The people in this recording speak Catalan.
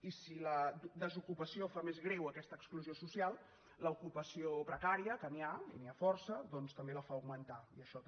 i si la desocupació fa més greu aquesta exclusió social l’ocupació precària que n’hi ha i n’hi ha força doncs també la fa augmentar i això també